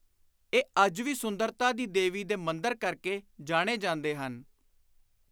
ਇਹ ਅੱਜ ਵੀ ਸੁੰਦਰਤਾ ਦੀ ਦੇਵੀ ਦੇ ਮੰਦਰ ਕਰਕੇ ਜਾਣੇ ਜਾਂਦੇ ਹਨ।